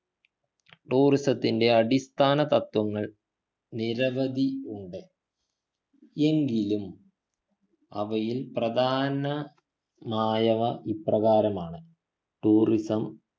tourism ത്തിൻ്റെ അടിസ്ഥാന തത്ത്വങ്ങൾ നിരവധി ഉണ്ട് എങ്കിലും അവയിൽ പ്രധനമായവ ഇപ്രകാരമാണ് tourism